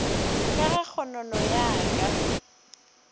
ka ge kgonono ya ka